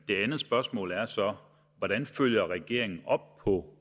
det andet spørgsmål er så hvordan følger regeringen op på